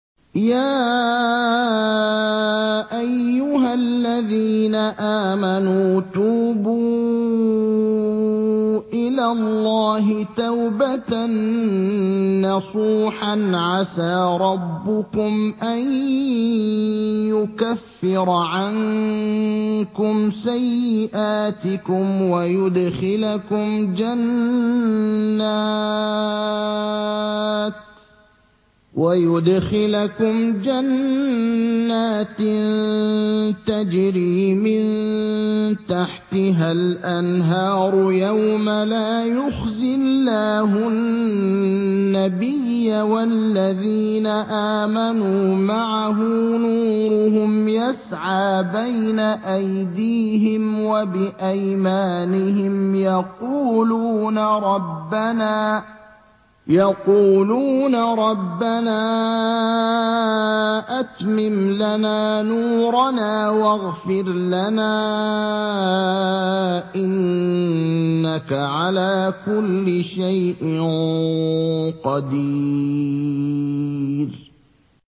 يَا أَيُّهَا الَّذِينَ آمَنُوا تُوبُوا إِلَى اللَّهِ تَوْبَةً نَّصُوحًا عَسَىٰ رَبُّكُمْ أَن يُكَفِّرَ عَنكُمْ سَيِّئَاتِكُمْ وَيُدْخِلَكُمْ جَنَّاتٍ تَجْرِي مِن تَحْتِهَا الْأَنْهَارُ يَوْمَ لَا يُخْزِي اللَّهُ النَّبِيَّ وَالَّذِينَ آمَنُوا مَعَهُ ۖ نُورُهُمْ يَسْعَىٰ بَيْنَ أَيْدِيهِمْ وَبِأَيْمَانِهِمْ يَقُولُونَ رَبَّنَا أَتْمِمْ لَنَا نُورَنَا وَاغْفِرْ لَنَا ۖ إِنَّكَ عَلَىٰ كُلِّ شَيْءٍ قَدِيرٌ